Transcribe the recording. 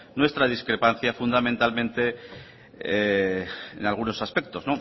nuestra discrepancia fundamentalmente en algunos aspectos